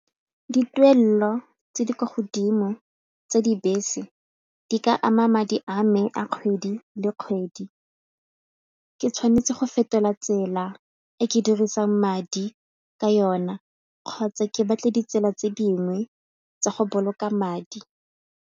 Dituelelo tse di kwa godimo tsa dibese di ka ama madi a me a kgwedi le kgwedi. Ke tshwanetse go fetola tsela e ke dirisang madi ka yona kgotsa ke batle ditsela tse dingwe tsa go boloka madi.